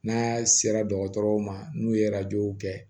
N'a sera dɔgɔtɔrɔw ma n'u ye w kɛ